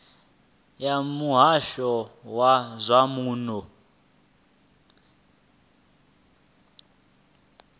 ya muhasho wa zwa muno